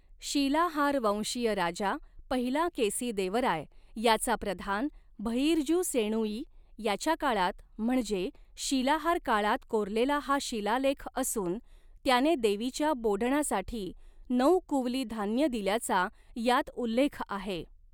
शिलाहारवंशीय राजा पहिला केसीदेवराय याचा प्रधान भइर्जू सेणुई याच्या काळात म्हणजे शिलाहार काळात कोरलेला हा शिलालेख असून त्याने देवीच्या बोडणासाठी नऊ कुवली धान्य दिल्याचा यात उल्लेख आहे.